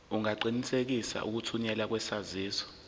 ungaqinisekisa ukuthunyelwa kwesaziso